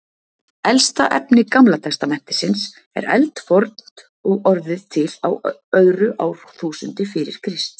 Elsta efni Gamla testamentisins er eldfornt og orðið til á öðru árþúsundi fyrir Krist.